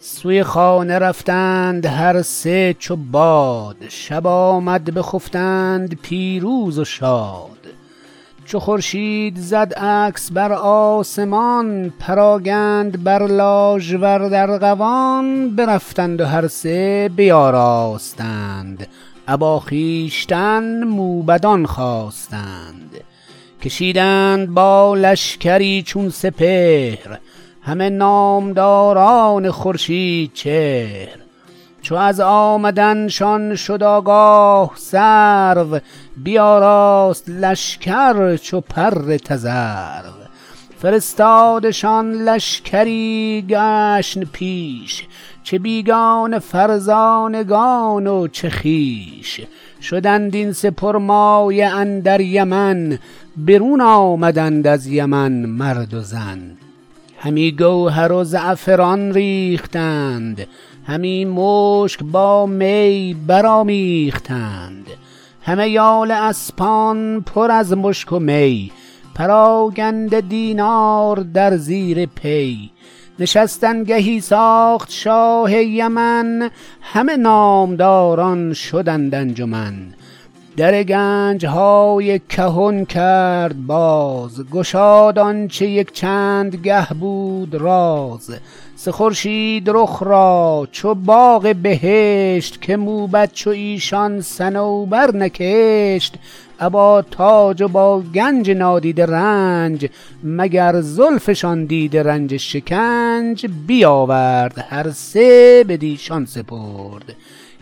سوی خانه رفتند هر سه چوباد شب آمد بخفتند پیروز و شاد چو خورشید زد عکس برآسمان پراگند بر لاژورد ارغوان برفتند و هر سه بیاراستند ابا خویشتن موبدان خواستند کشیدند با لشکری چون سپهر همه نامداران خورشیدچهر چو از آمدنشان شد آگاه سرو بیاراست لشکر چو پر تذرو فرستادشان لشکری گشن پیش چه بیگانه فرزانگان و چه خویش شدند این سه پرمایه اندر یمن برون آمدند از یمن مرد و زن همی گوهر و زعفران ریختند همی مشک با می برآمیختند همه یال اسپان پر از مشک و می پراگنده دینار در زیر پی نشستن گهی ساخت شاه یمن همه نامداران شدند انجمن در گنجهای کهن کرد باز گشاد آنچه یک چند گه بود راز سه خورشید رخ را چو باغ بهشت که موبد چو ایشان صنوبر نکشت ابا تاج و با گنج نادیده رنج مگر زلفشان دیده رنج شکنج بیاورد هر سه بدیشان سپرد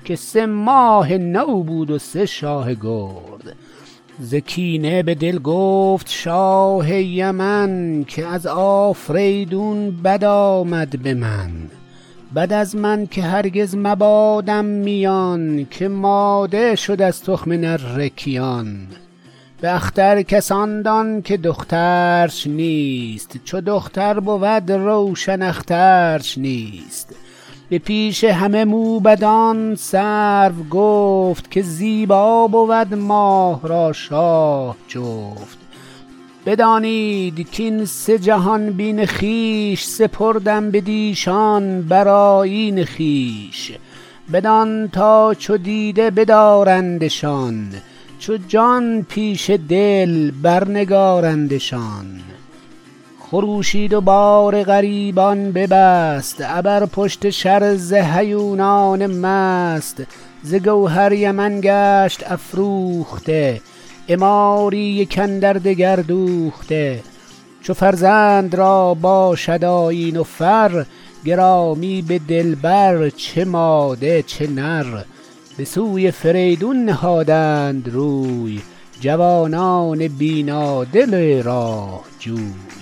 که سه ماه نو بود و سه شاه گرد ز کینه به دل گفت شاه یمن که از آفریدون بد آمد به من بد از من که هرگز مبادم میان که ماده شد از تخم نره کیان به اختر کس آن دان که دخترش نیست چو دختر بود روشن اخترش نیست به پیش همه موبدان سرو گفت که زیبا بود ماه را شاه جفت بدانید کین سه جهان بین خویش سپردم بدیشان بر آیین خویش بدان تا چو دیده بدارندشان چو جان پیش دل بر نگارندشان خروشید و بار غریبان ببست ابر پشت شرزه هیونان مست ز گوهر یمن گشت افروخته عماری یک اندردگر دوخته چو فرزند را باشد آیین و فر گرامی به دل بر چه ماده چه نر به سوی فریدون نهادند روی جوانان بینادل راه جوی